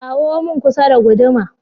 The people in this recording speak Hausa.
Kawo mun kusa da guduma!